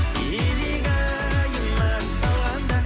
илигайыма салғанда